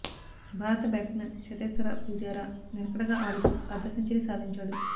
భారత batsman Cheteshwar Pujara నిలకడగా ఆడుతూ అర్థ సెంచరీ సాధించాడు